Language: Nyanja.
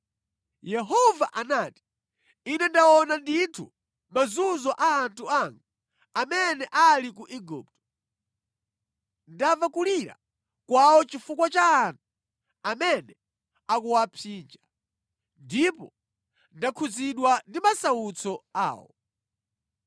Yehova anati, “Ine ndaona ndithu mazunzo a anthu anga amene ali ku Igupto. Ndamva kulira kwawo chifukwa cha anthu amene akuwapsinja, ndipo ndakhudzidwa ndi masautso awo.